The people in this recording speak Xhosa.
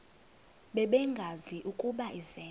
bengazi ukuba izenzo